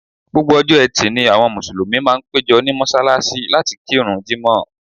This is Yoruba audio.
Gbogbo ọjọ́ Ẹtì ni àwọn Mùsùlùmí máa ń péjọ ní mọ́ṣáláṣí láti kírun Jímọ̀h